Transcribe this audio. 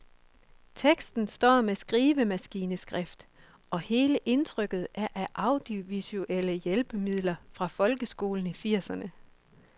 Teksten står med skrivemaskineskrift, og hele indtrykket er af audiovisuelle hjælpemidler fra folkeskolen i firserne.